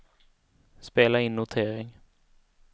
spela in notering